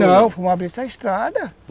Não, fomos abrir essa estrada.